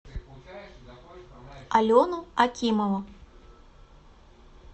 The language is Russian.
алену акимову